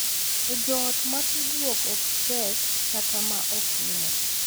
E joot ma tudruok ok tek kata ma ok ber,